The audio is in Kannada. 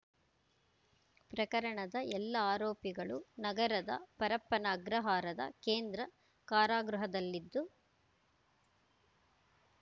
ಪ್ರಕರಣದ ಎಲ್ಲ ಆರೋಪಿಗಳು ನಗರದ ಪರಪ್ಪನ ಅಗ್ರಹಾರದ ಕೇಂದ್ರ ಕಾರಾಗೃಹದಲ್ಲಿದ್ದು